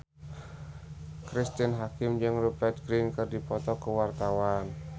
Cristine Hakim jeung Rupert Grin keur dipoto ku wartawan